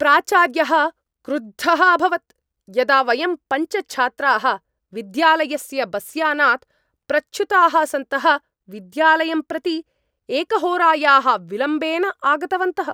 प्राचार्यः क्रुद्धः अभवत् यदा वयं पञ्च छात्राः विद्यालयस्य बस्यानात् प्रच्युताः सन्तः विद्यालयं प्रति एकहोरायाः विलम्बेन आगतवन्तः।